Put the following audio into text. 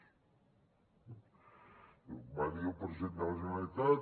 i ho va dir el president de la generalitat